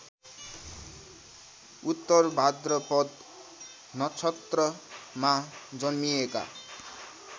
उत्तरभाद्रपद नक्षत्रमा जन्मिएका